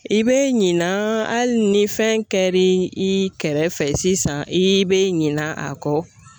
I bɛ ɲinan hali ni fɛn kɛr'i kɛrɛfɛ sisan i be ɲin'a kɔ.